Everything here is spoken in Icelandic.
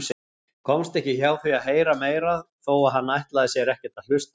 Komst ekki hjá því að heyra meira þó að hann ætlaði sér ekkert að hlusta.